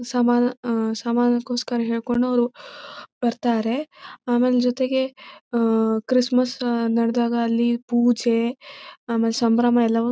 ಸಮಾನ್ ಆ ಸಮಾನಗೋಸ್ಕರ ಹೇಳ್ಕೊಂಡು ಅವರು ಬರ್ತಾರೆ ಆಮೇಲ್ ಜೊತೆಗೆ ಕ್ರಿಸ್ಮಸ್ ನಡದಾಗ ಅಲ್ಲಿ ಪೂಜೆ ಆಮೇಲೆ ಸಂಭ್ರಮ ಎಲ್ಲವೂ--